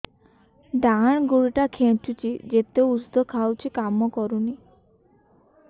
ଡାହାଣ ଗୁଡ଼ ଟା ଖାନ୍ଚୁଚି ଯେତେ ଉଷ୍ଧ ଖାଉଛି କାମ କରୁନି